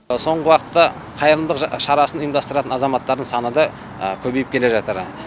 соңғы уақытта қайырымдылық жаса шарасын ұйымдастыратын азаматтардың саны да көбейіп келе жатыр